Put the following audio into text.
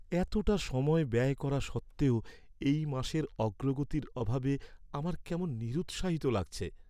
এতটা সময় ব্যয় করা সত্ত্বেও এই মাসের অগ্রগতির অভাবে আমার কেমন নিরুৎসাহিত লাগছে।